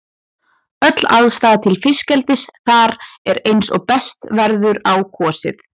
Öll aðstaða til fiskeldis þar er eins og best verður á kosið.